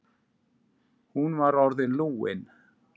Hún var orðin lúin.